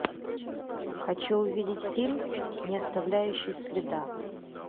хочу увидеть фильм не оставляющий следа